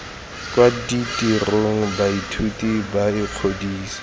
kwa ditirong baithuti ba ikgodisa